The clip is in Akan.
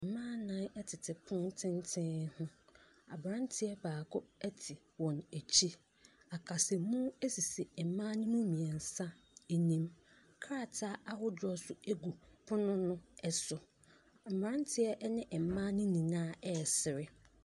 Mmaa nnan tete pono tenten ho. Aberanteɛ baako te wɔn akyi. Akasamu sisi mma no mu mmeɛnsa anim. Krataa ahodoɔ nso gu pono no so. Mmeranteɛ ne mmaa no nyinaa resere.